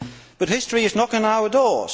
But history is knocking on our door.